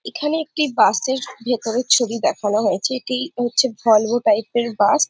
এখানে একটি বাস এর ভেতরের ছবি দেখানো হয়েছে এটি হচ্ছে ভলভো টাইপ এর বাস ।